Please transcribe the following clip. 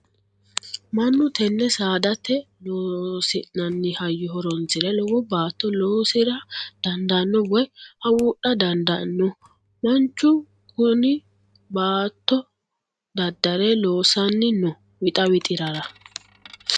Mannu tene saadate loosi'nanni hayyo horonsire lowo baatto loosira dandaano woyi hawudha dandaano manuchu kune baattto dadare loossani no wixa wixirara.